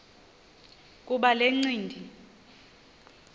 kuba le ncindi